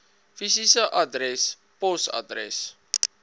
fisiese adres posadres